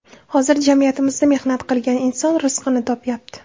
Hozir jamiyatimizda mehnat qilgan inson rizqini topyapti.